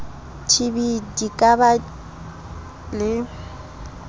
tb di ka ba le